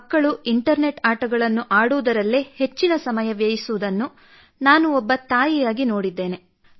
ಮಕ್ಕಳು ಇಂಟರ್ನೆಟ್ ಆಟಗಳನ್ನು ಆಡುವುದರಲ್ಲೇ ಹೆಚ್ಚಿನ ಸಮಯ ವ್ಯಯಿಸುವುದನ್ನು ನಾನು ಒಬ್ಬ ತಾಯಿಯಾಗಿ ನೋಡಿದ್ದೇನೆ